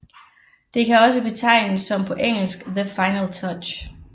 Det kan også betegnes som på engelsk The Final Touch